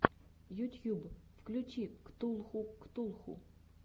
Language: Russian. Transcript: ютьюб включи ктулху ктулху